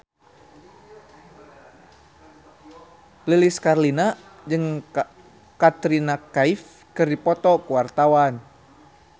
Lilis Karlina jeung Katrina Kaif keur dipoto ku wartawan